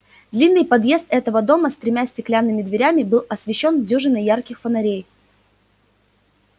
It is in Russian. длинный подъезд этого дома с тремя стеклянными дверями был освещён дюжиной ярких фонарей